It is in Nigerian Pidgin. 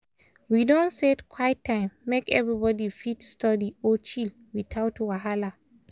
we don set quite time make everybody fit study or chill without wahala.